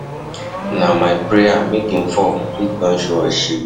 Na my prayer make im fall, heat don show us us shege.